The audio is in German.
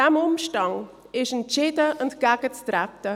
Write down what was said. Diesem Umstand ist entschieden entgegenzutreten.